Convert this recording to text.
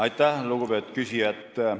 Aitäh, lugupeetud küsija!